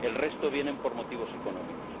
El resto viene por motivos económicos.